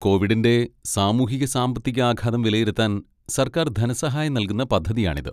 കോവിഡിന്റെ സാമൂഹിക സാമ്പത്തിക ആഘാതം വിലയിരുത്താൻ സർക്കാർ ധനസഹായം നൽകുന്ന പദ്ധതിയാണിത്.